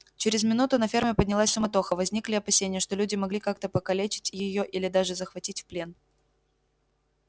через минуту на ферме поднялась суматоха возникли опасения что люди могли как-то покалечить её или даже захватить в плен